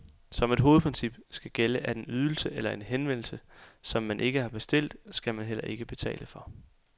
Som et hovedprincip skal gælde, at en ydelse eller en henvendelse, som man ikke har bestilt, skal man heller ikke betale for.